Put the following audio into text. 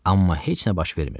Amma heç nə baş vermirdi.